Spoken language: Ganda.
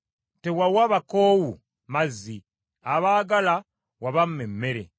Tewawa bakoowu mazzi, abaagala wabamma emmere,